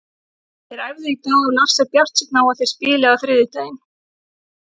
Þeir æfðu í dag og Lars er bjartsýnn á að þeir spili á þriðjudaginn.